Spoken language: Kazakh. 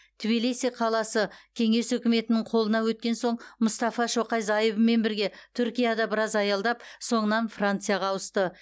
тбилиси қаласы кеңес өкіметінің қолына өткен соң мұстафа шоқай зайыбымен бірге түркияда біраз аялдап соңынан францияға ауысты